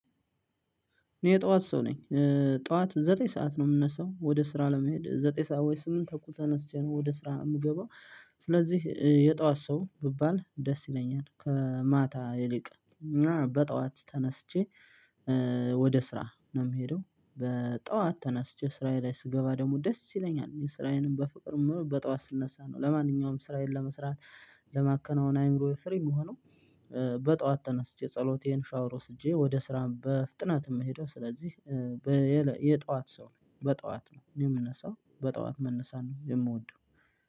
እኔ የጠዋት ሰው ነኝ። ጧት ዘጠኝ ሰዓት ነው የምነሳው ወደ ስራ ለመሄድ ዘጠኝ ሰዓት ወይስ ስምንት ተኩል ተነስቼ ነው ወደ ስራ የምገባው። ስለዚህ የጠዋት ሰው ብባል ደስ ይለኛል ከማታ ይልቅ እና በጠዋት ተነስቼ። ወደ ስራ ነው የምሄደው በጠዋት ተነስቼ ስራዬ ላይ ስገባ ደግሞ ደስ ይለኛል ስራዬን በፍቅር የምውለው በጧት ስነሳ ነው። ለማንኛውም እስራኤልን ለመስራት ለማከናወን አእምሮዬ ፍሪ የሚሆነው። በጠዋት ተነስቼ ጸሎቴን ሻወር ወስጄ ወደ ስራም በፍጥነት የምሄደው ስለዚህ። የጠዋት ሰው ነው በጠዋት ነው የምነሳው በጠዋት መነሳት ነው የምወደው።